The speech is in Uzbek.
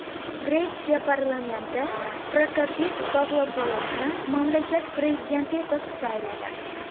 Gretsiya parlamenti Prokopis Pavlopulosni mamlakat prezidenti etib sayladi.